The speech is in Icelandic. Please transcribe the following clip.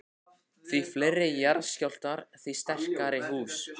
Því fleiri jarðskjálftar, því sterkari hús.